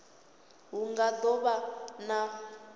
hu nga do vha na